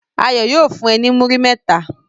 Ayo yóò fun e ni muri mẹta